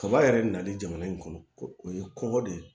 Kaba yɛrɛ nali jamana in kɔnɔ ko o ye kɔngɔ de ye